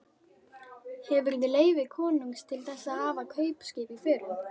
Hefurðu leyfi konungs til þess að hafa kaupskip í förum?